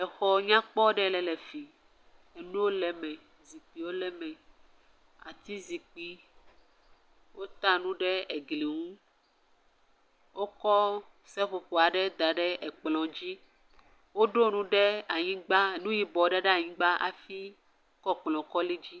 Exɔ nyakpɔ ɖe le fi ,nuwo le me, zikpuiwo le me, ati zikpui, wota enu ɖe egli ŋu, wokɔ seƒoƒo ɖe da ɖe ekplɔa dzi, woɖo nu ɖe anyigba, nu yibɔ ɖe ɖe anyigba hafi kɔ kplɔ kɔ li dzi.